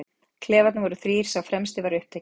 Klefarnir voru þrír, sá fremsti var upptekinn.